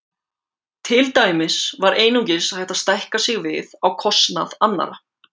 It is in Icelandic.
Til dæmis var einungis hægt að stækka við sig á kostnað annarra.